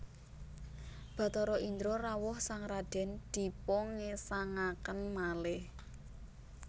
Bathara Indra rawuh sang radèn dipungesangaken malih